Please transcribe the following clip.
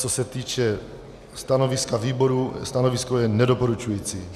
Co se týče stanoviska výboru, stanovisko je nedoporučující.